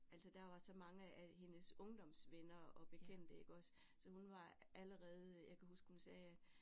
Altså der var så mange af hendes ungdomsvenner og bekendte iggås så hun var allerede jeg kan huske hun sagde